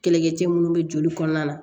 Kɛlɛkɛ cɛ minnu bɛ joli kɔnɔna na